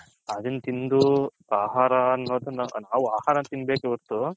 ಅದುನ್ ತಿಂದು ಆಹಾರ ಅನ್ನೋದನ್ನ ನಾವು ಆಹಾರ ತಿನಬೇಕೆ ಒರ್ತು